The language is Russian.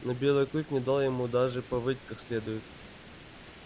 но белый клык не дал ему даже повыть как следует